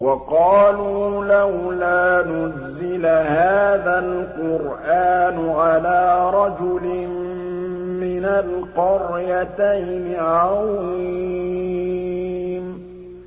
وَقَالُوا لَوْلَا نُزِّلَ هَٰذَا الْقُرْآنُ عَلَىٰ رَجُلٍ مِّنَ الْقَرْيَتَيْنِ عَظِيمٍ